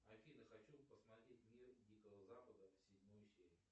афина хочу посмотреть мир дикого запада седьмую серию